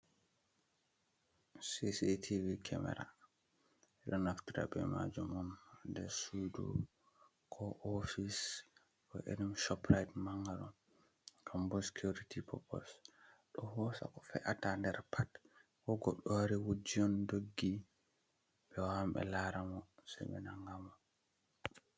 Cctv kemera ɓeɗo Naftira be manjum on nder sudu ko office ko irim shopright manga gambo security popos, on ɗo hosa ko fe’ata nder pat ko goɗɗo wari wuji on doggi be wawan be lara mo se ɓe nanga mo.